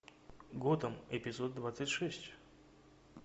готэм эпизод двадцать шесть